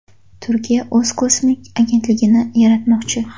Turkiya o‘z kosmik agentligini yaratmoqchi.